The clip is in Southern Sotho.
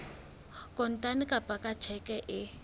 kontane kapa ka tjheke e